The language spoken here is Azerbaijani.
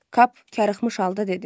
Kap karıxmış halda dedi.